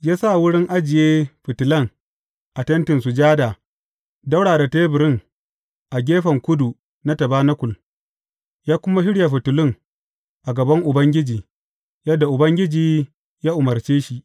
Ya sa wurin ajiye fitilan a Tentin Sujada ɗaura da teburin a gefen kudu na tabanakul ya kuma shirya fitilun a gaban Ubangiji, yadda Ubangiji ya umarce shi.